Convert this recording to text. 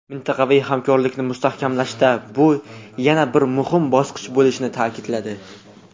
mintaqaviy hamkorlikni mustahkamlashda bu yana bir muhim bosqich bo‘lishini ta’kidladi.